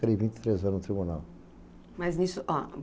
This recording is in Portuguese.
Fiquei vinte e três anos no tribunal. Mas nisso, ó...